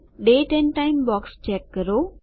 date and time box check કરો